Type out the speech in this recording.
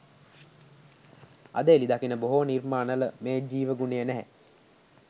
අද එළි දකින බොහෝ නිර්මාණවල මේ ජීව ගුණය නැහැ